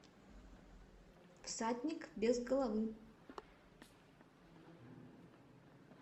всадник без головы